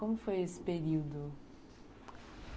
Como foi esse período?